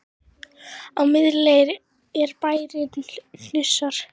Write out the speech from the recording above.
Á miðri leið er bærinn Hnausar.